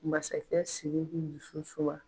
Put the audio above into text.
Masakɛ siriki muso